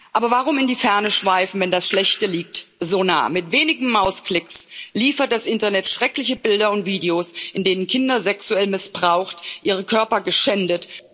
Aber warum in die Ferne schweifen, wenn das Schlechte liegt so nah Mit wenigen Mausklicks liefert das Internet schreckliche Bilder und Videos, in denen Kinder sexuell missbraucht, ihre Körper geschändet